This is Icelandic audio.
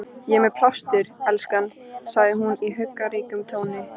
Ég er með plástur, elskan, segir hún í huggunarríkum tóni.